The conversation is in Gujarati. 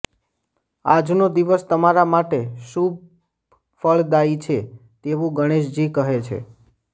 આજનો દિવસ તમારા માટે શુભફળદાયી છે તેવું ગણેશજી કહે છે